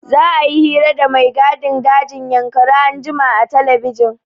Za'a yi hira da mai gadin dajin Yankari anjima a telebijin.